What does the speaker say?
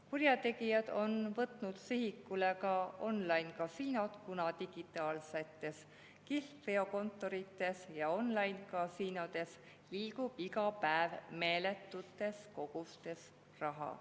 Kurjategijad on võtnud sihikule ka online‑kasiinod, kuna digitaalsetes kihlveokontorites ja online‑kasiinodes liigub iga päev meeletutes kogustes raha.